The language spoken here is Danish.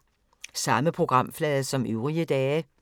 Samme programflade som øvrige dage